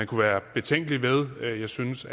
kunne være betænkelige ved jeg synes